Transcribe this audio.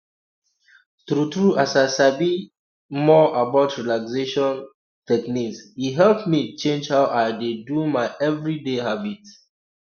true true as i sabi um more about relaxation um technique e help me change how i dey do my everyday habit